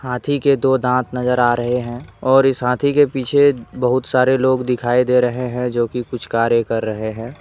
हाथी के दो दांत नजर आ रहे हैं और इस हाथी के पीछे बहुत सारे लोग दिखाई दे रहे हैं जो की कुछ कार्य कर रहे हैं।